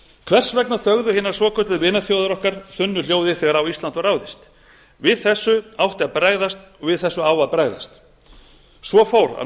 hvers vegna þögðu hinar svokölluðu vinaþjóðir okkar þunnu hljóði þegar á ísland var ráðist við þessu átti að bregðast og við þessu á að bregðast svo fór að